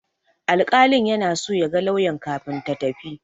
Alƙalin yana so ya ga lauyan kafin ta tafi.